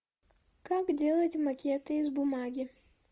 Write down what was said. как делать макеты из бумаги